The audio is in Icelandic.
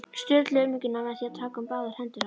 Sturlu umhyggjuna með því að taka um báðar hendur hans.